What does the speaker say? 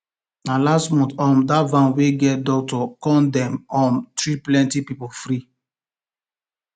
na last um month dat van wey get doctors come dem um treat plenty people free